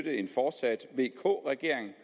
vk regeringen